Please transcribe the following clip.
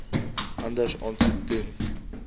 anders aansoek doen